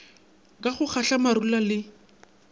ka go kgatla marula le